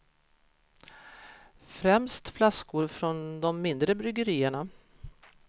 Främst flaskor från de mindre bryggerierna.